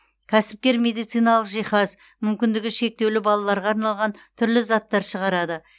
кәсіпкер медициналық жиһаз мүмкіндігі шектеулі балаларға арналған түрлі заттар шығарады